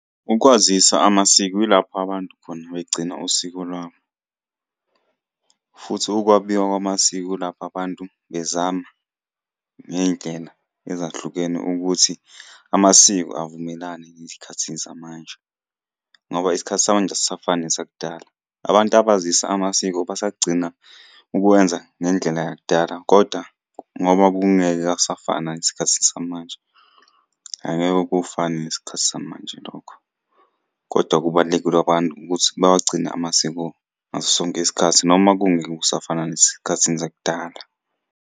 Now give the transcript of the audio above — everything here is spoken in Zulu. Ukwazisa amasiko yilapho abantu khona begcina usiko lwabo, futhi ukwabiwa kwamasiko ilapho abantu bezama ngey'ndlela ezahlukene ukuthi amasiko avumelane ezikhathini zamanje, ngoba isikhathi samanje asisafani nesakudala. Abantu abazisa amasiko basagcina ukwenza ngendlela yakudala kodwa ngoba kungeke akusafani nangesikhathini samanje. Angeke kufane nesikhathi samanje lokho, kodwa kubalulekile abantu ukuthi bawagcine amasiko ngaso sonke isikhathi noma kungeke kusafana nasesikhathini zakudala.